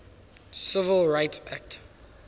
civil rights act